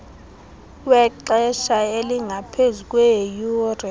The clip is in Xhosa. wexesha elingaphezu kweeyure